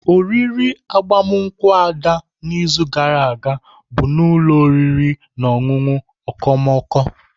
Oriri agbamakwụkwọ Ada n'izu gara aga bụ n'ụlọ oriri na ọṅụṅụ okomoko.